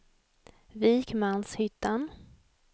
Vikmanshyttan